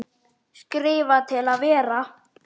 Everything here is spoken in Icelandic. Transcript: Skrifa til að vera?